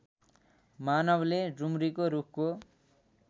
मानवले डुम्रीको रूखको